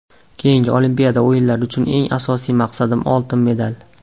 Keyingi Olimpiada o‘yinlari uchun eng asosiy maqsadim oltin medal.